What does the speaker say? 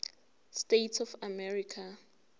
states of america